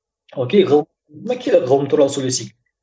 ок ғылым туралы сөйлесейік